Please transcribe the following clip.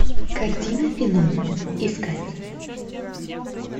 картина феномен искать